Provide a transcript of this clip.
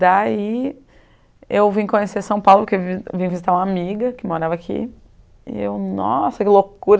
Daí, eu vim conhecer São Paulo porque vim vim visitar uma amiga que morava aqui, e eu, nossa, que loucura!